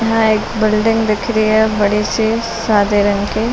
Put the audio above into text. यहाँ एक बिल्डिंग दिख रही है बड़ी सी सादे रंग की।